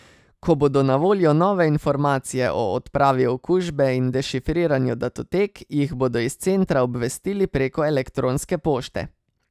Ko bodo na voljo nove informacije o odpravi okužbe in dešifriranju datotek, jih bodo iz centra obvestili preko elektronske pošte.